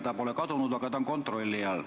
See pole kadunud, aga see on kontrolli all.